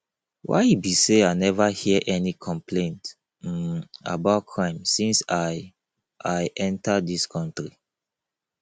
why e be say i never hear any complaint um about crime since i i enter dis country